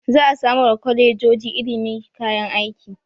Za a samar wa kwalejoji ilimi kayan aiki.